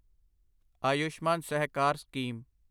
Ayushman Sahakar scheme